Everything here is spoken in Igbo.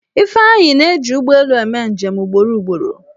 Ifeanyi na-eji ụgbọelu eme njem ugboro ugboro.